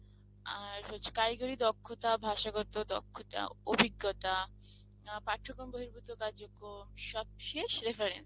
আর হচ্ছে কারিগরি দক্ষতা, ভাষাগত, দক্ষতা, অভিজ্ঞতা আ পাঠ্যক্রম বহির্ভূত কার্যক্রম সবশেষ reference